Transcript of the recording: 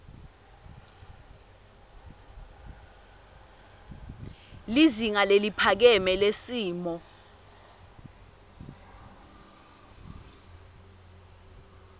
lizinga leliphakeme lesimilo